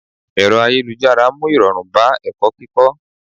Ẹ̀rọ ayélujára mú irọrun bá ẹ̀kọ́ kíkó.